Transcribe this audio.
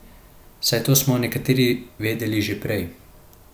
Saj to smo nekateri vedeli že prej.